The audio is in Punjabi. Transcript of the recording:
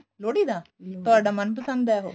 ਲੋਹੜੀ ਦਾ ਤੁਹਾਡਾ ਮਨਪਸੰਦ ਹੈ ਉਹ